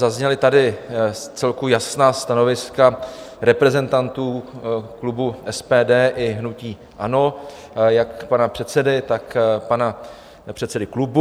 Zazněla tady vcelku jasná stanoviska reprezentantů klubu SPD i hnutí ANO, jak pana předsedy, tak pana předsedy klubu.